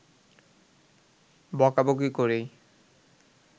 বকাবকি করেই